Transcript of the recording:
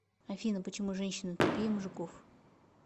афина почему женщины тупее мужиков